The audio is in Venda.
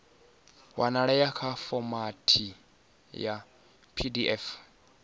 wanalea nga fomathi ya pdf